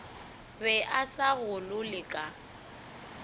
be a sa golole ka